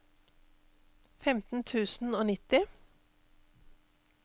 femten tusen og nitti